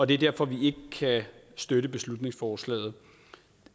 det er derfor at vi ikke kan støtte beslutningsforslaget